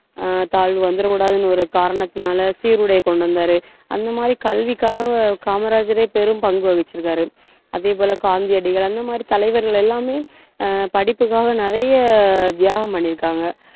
ஆஹ் தாழ்வு வந்துடக் கூடாதுன்னு ஒரு காரணத்தினால சீருடையை கொண்டு வந்தாரு அந்த மாதிரி கல்விக்காக காமராஜரே பெரும்பங்கு வகிச்சிருக்காரு அதே போல காந்தியடிகள் அந்த மாதிரி தலைவர்கள் எல்லாமே ஆஹ் படிப்புக்காக, நிறைய தியாகம் பண்ணியிருக்காங்க